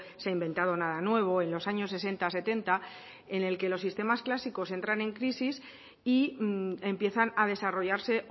se ha inventado nada nuevo en los años sesenta setenta en el que los sistemas clásicos entran en crisis y empiezan a desarrollarse